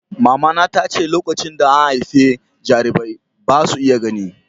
Mamana ta ce "Lokacin da an haifi jarirai, ba' su iya gani."